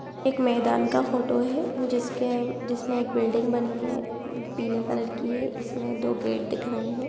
एक मैदान का फोटो है जिसके जिसमें एक बिल्डिंग बनी है पीले कलर की इसमें दो गेट दिख रहे हैं।